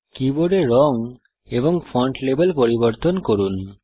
কীবোর্ডে রঙ এবং ফন্ট লেভেল পরিবর্তন করুন